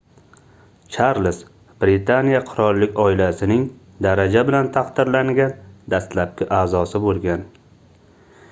charlz britaniya qirollik oilasining daraja bilan taqdirlangan dastlabki aʼzosi boʻlgan